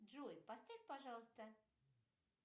джой поставь пожалуйста